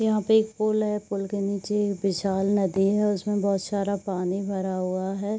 यहाँ पे एक पुल है। पुल के नीचे एक विशाल नदी है उसमें बहुत सारा पानी भरा हुआ है।